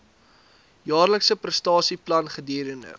jaarlikse prestasieplan gedurende